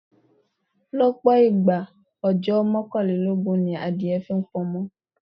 Lọ́pọ̀ ìgbà, ọjọ́ mọ́kànlélógún ni adìẹ fi pamọ.